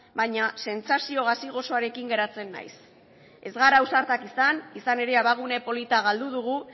baina sentsazio gazi gozoarekin geratzen naiz ez gara ausartak izan izan ere abagune polita galdu dugu